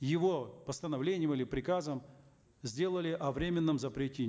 его постановлением или приказом сделали о временном запрете